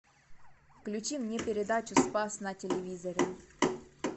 включи мне передачу спас на телевизоре